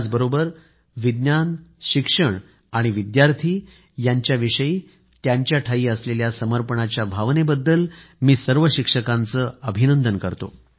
त्याचबरोबर विज्ञान शिक्षण आणि विद्यार्थी यांच्याविषयी त्यांच्याठायी असलेल्या समर्पणाच्या भावनेबद्दल मी सर्व शिक्षकांचे अभिनंदन करतो